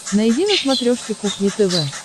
найди на смотрешке кухня тв